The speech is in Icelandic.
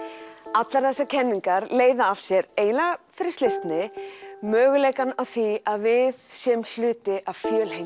allar þessar kenningar leiða af sér eiginlega fyrir slysni möguleikann á því að við séum hluti af